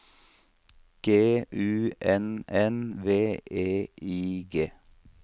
G U N N V E I G